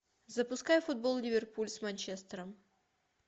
запускай футбол ливерпуль с манчестером